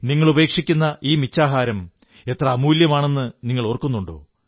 നിങ്ങളുപേക്ഷിക്കുന്ന ഈ മിച്ചാഹാരം എത്ര അമൂല്യമാണെന്നു നിങ്ങളോർക്കുന്നുണ്ടോ